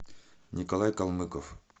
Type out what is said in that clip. николай калмыков